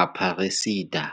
Aparecida.